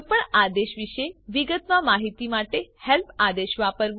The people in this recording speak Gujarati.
કોઈપણ આદેશ વિશે વિગતમાં માહિતી માટે હેલ્પ આદેશ વાપરવું